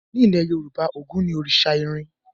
Nílẹ̀ Yorùbá, Ògún ni òrìṣa irin.